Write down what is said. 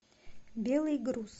белый груз